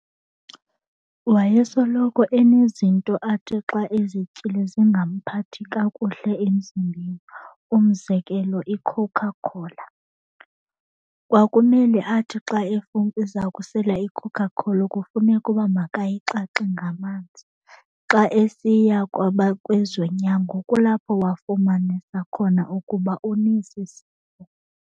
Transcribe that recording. Wayesoloko enezinto athi xa ezityile zingamphathi kakuhle emzimbeni, umzekelo iCoca Cola. Kwakumele athi xa eza kusela iCoca Cola kufuneka uba makayixaxe ngamanzi. Xa esiya kwezonyango kulapho wafumanisa khona ukuba unesi sifo.